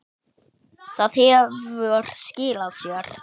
Það hefur skilað sér.